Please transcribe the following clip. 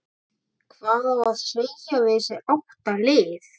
Hvað á að segja við þessi átta lið?